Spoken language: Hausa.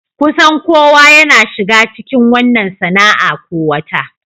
Kusan kowa yana shiga cikin wannan sana'a ko wata.